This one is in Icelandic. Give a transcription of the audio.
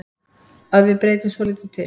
Að við breytum svolítið til.